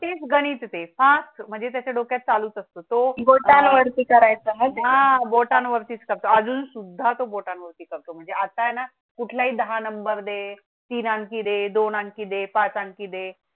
तेच गणित द Fast म्हणजे त्याच्या डोक्यात चालू असतो तो बोटां वरती करायचं हा बोटां वर तिचा अजून सुद्धा तो बोटां होती करतो. म्हणजे आता हे ना कुठला ही दहा नंबर दे तीन आणखी दोन आणखी दे पाच आणखी दे